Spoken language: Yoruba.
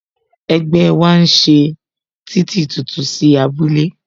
Ẹgbẹ́ wa ń ṣe títì tuntun sí abúlé